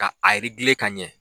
Ka a ka ɲɛ